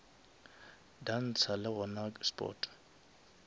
dansa le gona ke sport